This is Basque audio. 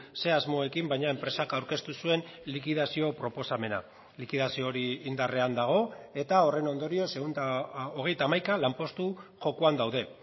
ze asmoekin baina enpresak aurkeztu zuen likidazio proposamena likidazio hori indarrean dago eta horren ondorioz ehun eta hogeita hamaika lanpostu jokoan daude